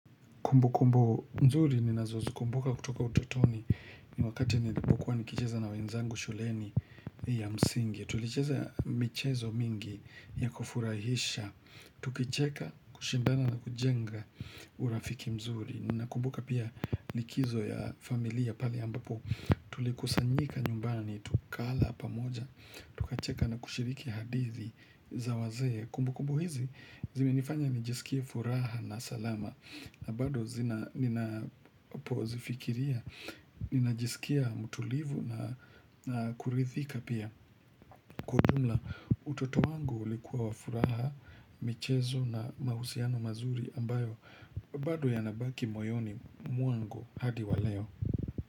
Kumbukumbu nzuri ninazozikumbuka kutoka utotoni, ni wakati nilipokuwa nikicheza na wenzangu shuleni ya msingi. Tulicheza michezo mingi ya kufurahisha, tukicheka, kushindana na kujenga urafiki mzuri. Nakumbuka pia, likizo ya familia pale ambapo tulikusanyika nyumbani, tukala pamoja, tukacheka na kushiriki hadithi za wazee. Kumbukumbu hizi zimenifanya nijisikie furaha na salama na bado ninapozifikiria Ninajisikia mtulivu na kuridhika pia. Kwa ujumla, utoto wangu ulikuwa wa furaha michezo na mahusiano mazuri ambayo bado yanabaki moyoni mwangu hadi wa leo.